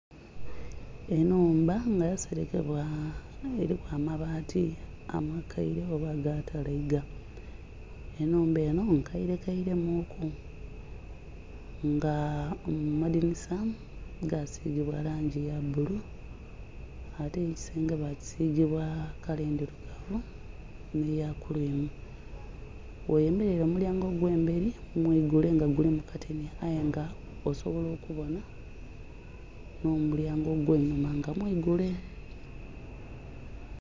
Enhumba nga ya serekebwa eliku amabati amakaire oba aga talaiga, enhumba enho nkaire kairemu ku nga amadhinisa gasigibwa langi ya bbulu ate ekisenge bakisiga kala endhirugavu nhe ya kurwimu. Ghoyemera omulyango ogwe emberi mwigule nga gulimu kateni aye nga osobola okubonha nho mulyango gwinhuma nga mwigule.